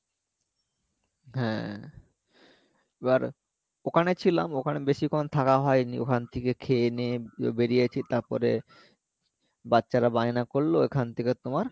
হ্যাঁ এবার ওখানে ছিলাম ওখানে বেশিক্ষণ থাকা হয়নি ওখান থেকে খেয়ে নিয়ে বেড়িয়েছি তাপরে বাচ্চারা বায়না করলো ওখান থেকে তোমার